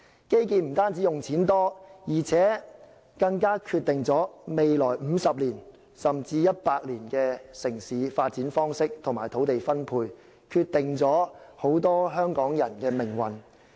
基建不單花費多，而且更決定了未來50年，甚至100年的城市發展方式及土地分配，決定了很多香港人的命運。